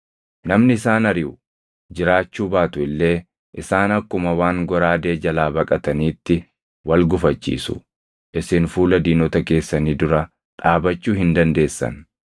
Namni isaan ariʼu jiraachuu baatu illee isaan akkuma waan goraadee jalaa baqataniitti wal gufachiisu. Isin fuula diinota keessanii dura dhaabachuu hin dandeessan.